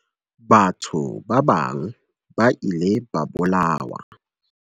Batho ba bang ba ile ba bolawa.